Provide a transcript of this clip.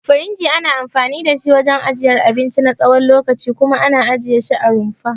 Firinji ana anfani da shi wajen ajiyar abinci na tsawon lokaci kuma ana ajiye shi a rumfa.